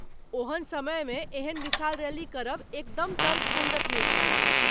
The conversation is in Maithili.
ओहन समयमे एहन विशाल रैली करब एकदम तर्कसङ्गत नहि छल।